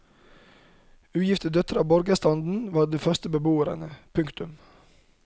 Ugifte døtre av borgerstanden var de første beboerne. punktum